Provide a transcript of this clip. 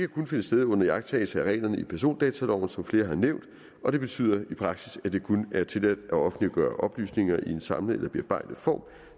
kun finde sted under iagttagelse af reglerne i persondataloven som flere har nævnt og det betyder i praksis at det kun er tilladt at offentliggøre oplysninger i en samlet eller bearbejdet form